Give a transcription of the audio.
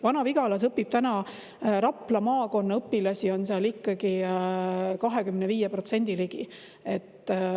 Vana-Vigalas on praegu Rapla maakonna õpilasi vaid 25% ligi.